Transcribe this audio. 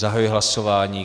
Zahajuji hlasování.